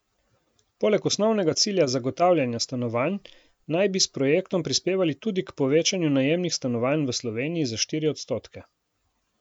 Poleg osnovnega cilja zagotavljanja stanovanj naj bi s projektom prispevali tudi k povečanju najemnih stanovanj v Sloveniji za štiri odstotke.